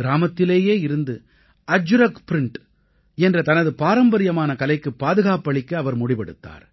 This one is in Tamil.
கிராமத்திலேயே இருந்து அஜ்ரக் ப்ரிண்ட் என்ற தனது பாரம்பரியமான கலைக்குப் பாதுகாப்பளிக்க அவர் முடிவெடுத்தார்